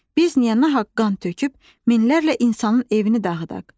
Biz niyə nahaq qan töküb minlərlə insanın evini dağıdaq?